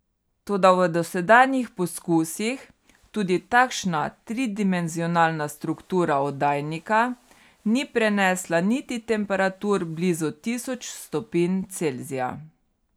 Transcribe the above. Toda v dosedanjih poskusih tudi takšna tridimenzionalna struktura oddajnika ni prenesla niti temperatur blizu tisoč stopinj Celzija.